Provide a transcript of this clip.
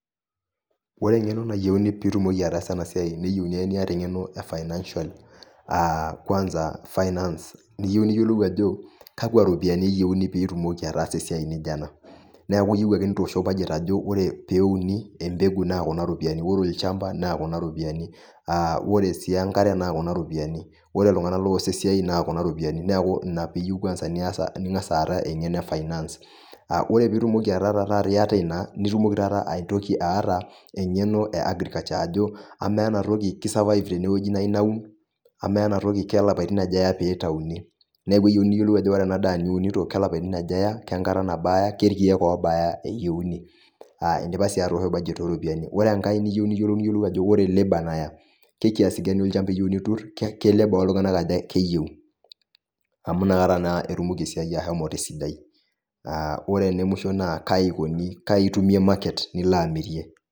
Ore eng'eno nayieuni pitumoki ataasa enasiai neyieuni ake niata eng'eno e financial ah kwansa finance. Niyieu niyiolou ajo kakwa ropiyiani eyeuni pitumoki ataasa esiai nijo ena. Neeku iyieu ake itoosho budget ajo ore peuni empeku na kuna ropiyiani. Ore olchamba, na kuna ropiyiani. Ore si enkare na kuna ropiyiani. Ore iltung'anak loos esiai na kuna ropiyiani. Neeku ina piyieu kwansa nias ning'asa aata eng'eno e finance. Ore pitumoki taata ataa iyata ina, nitumoki taata aitoki aata eng'eno e agriculture. Ajo, amaa enatoki ki survive tene nayu naun. Amaa enatoki kelapaitin aja eya pitauni. Neeku eyieuni niyiolou ajo ore enadaa niunito kelapaitin aja eya, kenkata nabaa eya, kerkeek obaa eyieu. Idipa si atoosho budget oropiyiani. Ore enkae niu niyiolou niyiolou ajo ore labour naya ke kiasi gani olchamba iyieu nitur, ke labour oltung'anak aja keyieu. Amu nakata naa etum esiai ashomo tesidai. Ore ene musho naa kai ikoni kai itumie market nilo amirie.